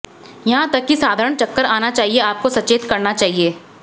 यहां तक कि साधारण चक्कर आना चाहिए आपको सचेत करना चाहिए